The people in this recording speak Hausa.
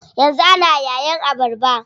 Yanzu ana yayin abarba.